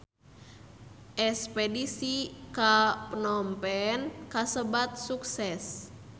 Espedisi ka Phnom Penh kasebat sukses